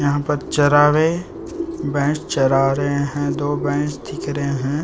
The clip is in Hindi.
यहाँ पर चरावे भैंस चरा रहे है दो भैंस दिख रहे है ।